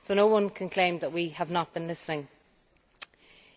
So no one can claim that we have not been listening.